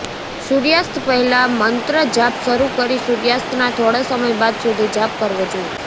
સૂર્યાસ્ત પહેલાં મંત્ર જાપ શરૂ કરી સૂર્યાસ્તના થોડા સમય બાદ સુધી જાપ કરવો જોઈએ